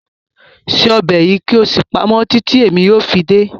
Cook this soup and keep it until I come